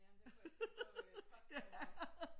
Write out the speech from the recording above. Jamen det kunne jeg se på øh postnummeret